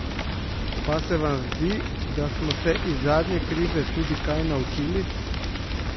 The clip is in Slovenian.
Pa se vam zdi, da smo se iz zadnje krize tudi kaj naučili?